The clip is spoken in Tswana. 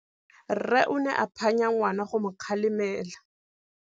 Rre o ne a phanya ngwana go mo galemela.